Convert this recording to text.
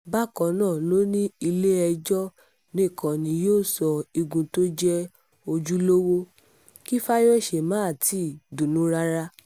bákan náà ló ní ilé-ẹjọ́ nìkan ni yóò sọ igun tó jẹ́ ojúlówó kí fáyọsé má tì í dunnú rárá